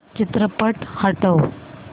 चित्रपट हटव